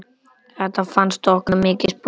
Þetta fannst okkur mikið sport.